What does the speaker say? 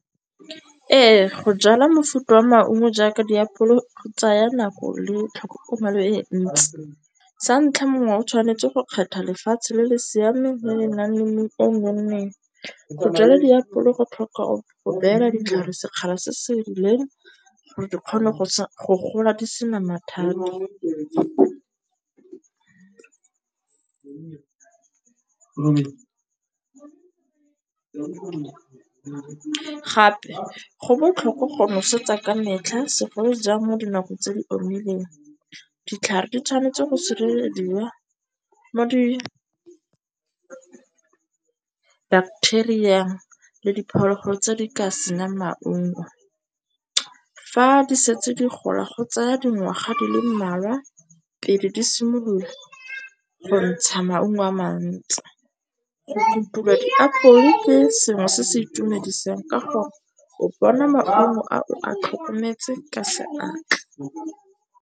Ee, go jala mofuta wa maungo jaaka diapole go tsaya nako le tlhokomelo e ntsi. Sa ntlha mongwe o tshwanetse go kgetha lefatshe le le siameng le le nang le mobu o nonneng. Go jala diapole go tlhoka go beela ditlhare sekgala se se rileng gore di kgone go gola di sena mathata. Gape go botlhokwa go nosetsa ka metlha segolo jang mo dinakong tse di omileng. Ditlhare di tshwanetse go sirelediwa mo di bacteria le diphologolo tse di ka senyang maungo. Fa di setse di gola go tseya dingwaga di le mmalwa pele di simolola go ntsha maungo a mantsi. Go kutula diapole ke sengwe se se itumedisang ka gore o bona maungo a o a tlhokometse ka seatla.